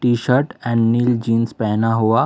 T-shirt and नील jeans पहना हुआ--